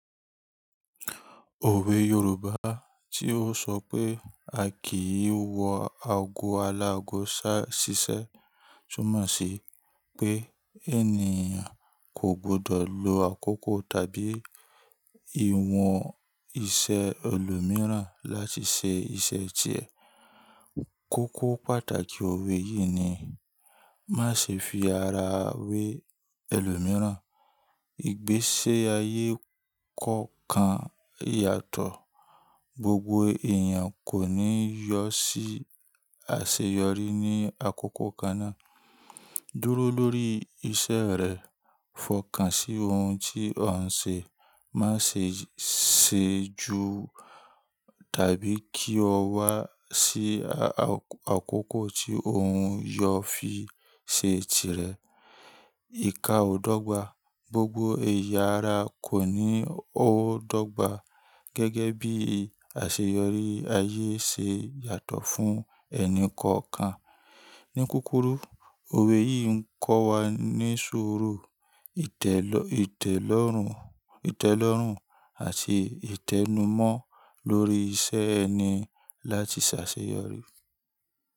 Òwe Yorùbá tí ó sọ pé “A kì í wọ ago aláago ṣá ṣiṣẹ́” túmọ̀ sí pé ènìyàn kò gbọdọ̀ lo àkókò tàbí ìwọ̀n iṣẹ́ ẹlòmíràn láti ṣe iṣẹ́ tirẹ̀. Kókó pàtàkì òwe yìí ni má ṣe fi ara wẹ ẹlòmíràn. Igbésí ayé kọ̀ọ̀kan yàtọ̀, gbogbo èèyàn kò ní yọ sí àṣeyọrí ní àkókò kan náà. Dúró lórí iṣẹ́ rẹ, fọkàn sí ohun tí ọ n ṣe, má ṣe sejù tàbí kí o wá sí àkókò tí ohun yóò fi ṣe tirẹ̀. Ìká ọ̀dọ́gba, gbogbo ẹ̀yà ara kò ní ó dọ́gba gẹ́gẹ́ bí àṣeyọrí ayé ṣe yàtọ̀ fún ẹnì kọ̀ọ̀kan. Ní kúrúkù, òwe yìí ń kọ́ wa ní suuru, itelo ìtẹ́lọ́rùn àti ìtẹ́numọ́ lórí iṣẹ́ ẹni láti ṣàṣeyọrí.